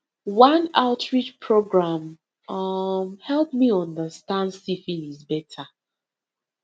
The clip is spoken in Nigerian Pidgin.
one outreach program um help me understand syphilis better